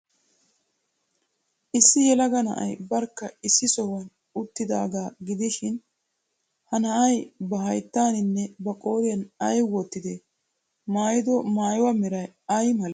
Issi yelaga na'ay barkka issi sohuwan uttidaagaa gidishin, ha na'ay ba hayttaaninne ba qooriyaan ay wottidee? I maayido maayuwaa meray ay malee?